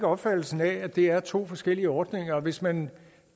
opfattelsen af at det er to forskellige ordninger for hvis man